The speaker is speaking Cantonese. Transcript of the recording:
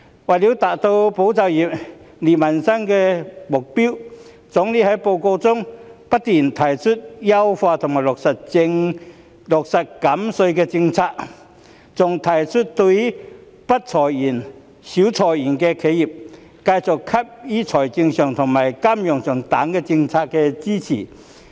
為了達到"保就業"、利民生的目標，總理在報告中不斷提出優化和落實減稅的政策，更提出要對不裁員、少裁員的企業，繼續給予財政上和金融上等政策支持。